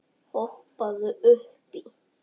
Hoppaðu upp í.